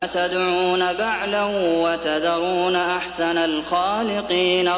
أَتَدْعُونَ بَعْلًا وَتَذَرُونَ أَحْسَنَ الْخَالِقِينَ